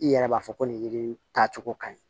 I yɛrɛ b'a fɔ ko nin yiri in taa cogo ka ɲi